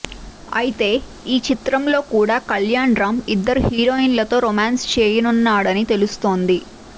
అయితే ఈ చిత్రంలో కూడా కళ్యాణ్ రామ్ ఇద్దరు హీరోయిన్లతో రొమాన్స్ చేయనున్నాడని తెలుస్తోంది